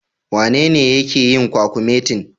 Wanene yake yin kwakumetin?